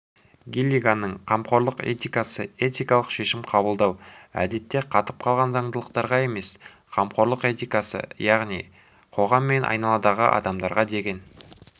гиллиганның қамқорлық этикасыэтикалық шешім қабылдау әдетте қатып қалған заңдылықтарға емес қамқорлық этикасынаяғни қоғам мен айналадағы адамдарға деген